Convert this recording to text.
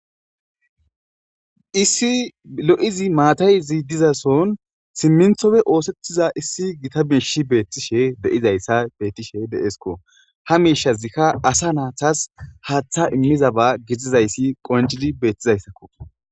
Issi lo'izi maatay dizason simmintoppe oothetida gita miishi de'izaysi beetishe de'esiko. Ha miishazika asa naytas gaatha immizaysi qoncidi beetizaysako.